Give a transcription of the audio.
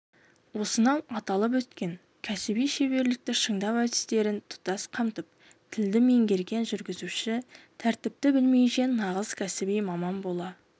осынау аталып өткен кәсіби шеберлікті шыңдау әдістерін тұтас қамтып тілді меңгерген жүргізуші тәртіпті білмейінше нағыз кәсіби маман бола